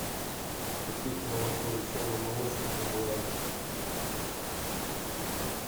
купить молоко веселый молочник онлайн